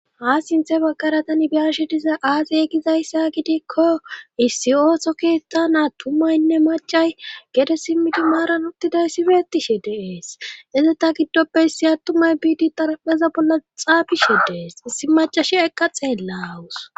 Ha sinthe baggara tani biyashe diza aaziy egizayssa gidikko issi ooso keettha naa tumaynne macay gede simmidi maaran uttiday sife ettishe deees ezeta giddoppeissi attumay biidi tarapeza bolla xaabishe dees issi macashi eqqa xeella awus